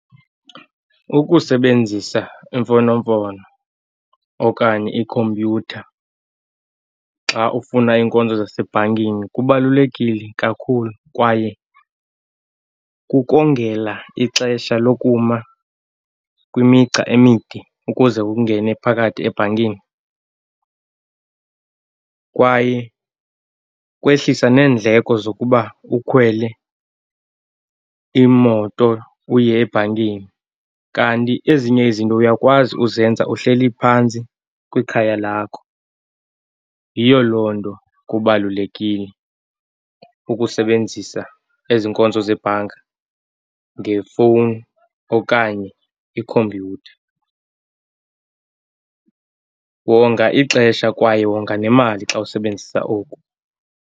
Ukusebenzisa imfonomfono okanye ikhompyutha xa ufuna iinkonzo zasebhankini kubalulekile kakhulu, kwaye kukongela ixesha lokuma kwimigca emide ukuze ungene phakathi ebhankini, kwaye kwehlisa neendleko zokuba ukhwele imoto uye ebhankini. Kanti ezinye izinto uyakwazi uzenza uhleli phantsi kwikhaya lakho. Yiyo loo nto kubalulekile ukusebenzisa ezi nkonzo zebhanka ngefowuni okanye ikhompyutha. Wonga ixesha kwaye wonga nemali xa usebenzisa oku.